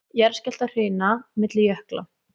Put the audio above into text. Jarðskjálftahrina milli jökla